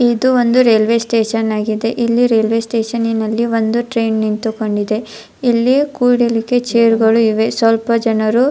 ಇದು ಒಂದು railway station ಆಗಿದೆ ಇಲ್ಲಿ ರೈಲ್ವೇ ಸ್ಟೇಷನ್ ಅಲ್ಲಿ ಒಂದು ಟ್ರೈನ್ ನಿಂತುಕೊಂಡಿದೆ ಇಲ್ಲಿ ಕೂರಲಿಕ್ಕೆ ಚೇರ್ಗಳು ಇದೆ ಸ್ವಲ್ಪ ಜನರು --